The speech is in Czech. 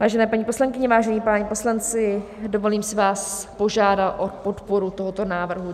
Vážené paní poslankyně, vážení páni poslanci, dovolím si vás požádat o podporu tohoto návrhu.